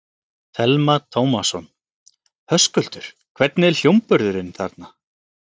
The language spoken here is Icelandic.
Telma Tómasson: Höskuldur, hvernig er hljómburðurinn þarna?